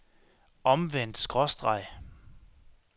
omvendt skråstreg